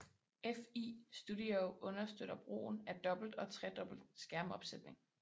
Fl Studio understøtter brugen af dobbelt og tredobbelt skærmopsætning